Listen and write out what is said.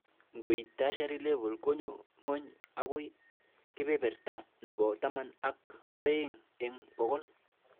Ngoit tertiary level konyo ng'ony agoi kebeberta nebo taman ak oeng eng bokol